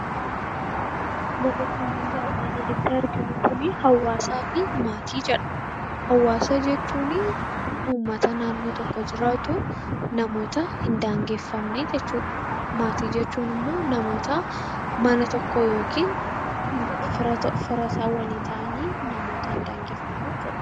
Barreeffamni armaan olitti arginu Kun, hawaasaa fi maatii jedha. Hawaasa jechuun uummata naannoo tokko jiraatu namoota hin daangeffamnee jechuudha. Maatii jechuun immoo namoota mana tokko keessa yookiin fira tokko ta'anii namootaan daangeffaman jechuudha.